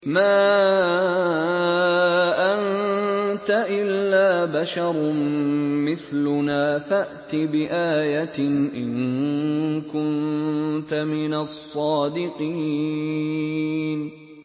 مَا أَنتَ إِلَّا بَشَرٌ مِّثْلُنَا فَأْتِ بِآيَةٍ إِن كُنتَ مِنَ الصَّادِقِينَ